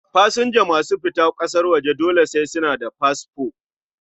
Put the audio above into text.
Pasanja masu fita ƙasan waje dole sai suna da fasfo